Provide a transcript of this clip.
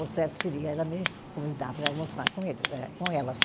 O certo seria ela me convidar para almoçar com eles, né, com elas.